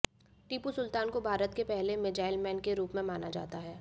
टीपू सुल्तान को भारत के पहले मीज़ाइल मैन के रूप में जाना जाता है